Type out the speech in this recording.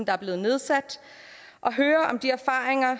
er blevet nedsat om erfaringerne